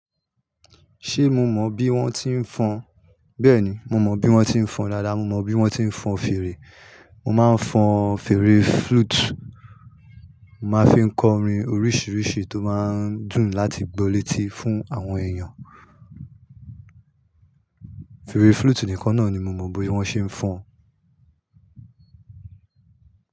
Ṣé mo mọ bí wọ́n ti ń fọn? Bẹ́ẹ̀ni, mo mọ bí wọ́n ti ń fọn dáadáa. Mo mọ bí wọ́n ti ń fọn fèrè. Mo máa ń fọn fèrè flute. Mo máa ń fi kọ orin oríṣiríṣi tó máa ń dùn láti gba létí fún àwọn èèyàn. Fèrè flute nìkan náà ni mo mọ bí wọ́n ṣe ń fọn.